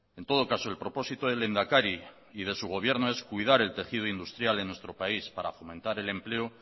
en todo caso el propósito del lehendakari y de su gobierno es cuidar el tejido industrial en nuestro país para fomentar el empleo